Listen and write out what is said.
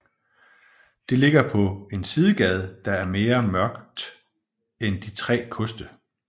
Det ligger på en sidegade der er mere mørkt end De Tre Koste